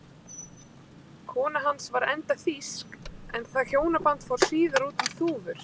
Kona hans var enda þýsk en það hjónaband fór síðar út um þúfur.